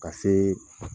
Ka se